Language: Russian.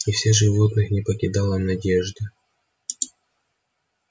и все животных не покидала надежда